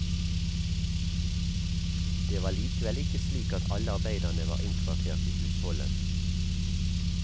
Det var likevel ikke slik at alle arbeiderne var innkvartert i husholdet.